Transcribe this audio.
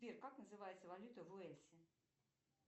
сбер как называется валюта в уэльсе